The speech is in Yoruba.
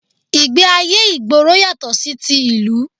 Ìgbẹ́ ayé ìgboro yàtọ̀ sí ti ìlú